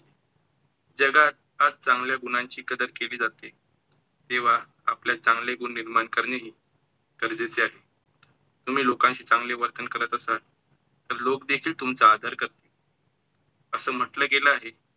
जगात फार चांगल्या गुणांची कदर केली जाते, तेव्हा आपल्यात चांगले गुण निर्माण करणे ही गरजेचे आहे. तुम्ही लोकांशी चांगले वर्तन करत असाल, तर लोक देखिल तुमचा आदर करतील. असं म्हंटलं गेलं आहे कि